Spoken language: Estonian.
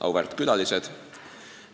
Auväärt külalised!